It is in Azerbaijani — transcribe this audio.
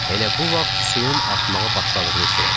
Elə bu vaxt suyun artmağa başladığını hiss elədik.